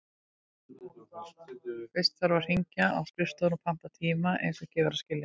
Fyrst þarf að hringja á skrifstofuna og panta tíma, eins og gefur að skilja.